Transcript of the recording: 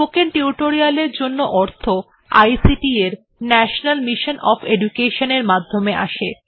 spoken tutorial এর জন্য অর্থ আইসিটি এর ন্যাশনাল মিশন ওএফ এডুকেশন এর মাধ্যমে আসে